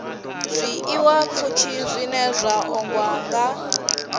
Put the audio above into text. zwiḽiwapfushi zwine zwa ṱoḓwa nga